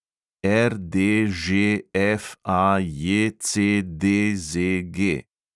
RDŽFAJCDZG